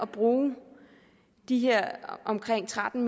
bruge de her omkring tretten